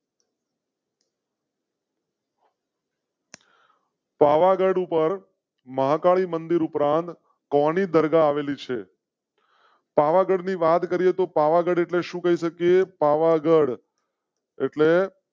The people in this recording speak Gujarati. પાવાગઢ ઉપર મહાકાળી મંદિર ઉપરાંત કો ની દરગાહ આવેલી છે? પાવાગઢ ની વાત કરીએ તો પાવાગઢ એટલે શું કરી શકે? પાવાગઢ. એટલે.